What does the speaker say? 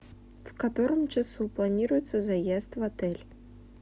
в котором часу планируется заезд в отель